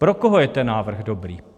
Pro koho je ten návrh dobrý?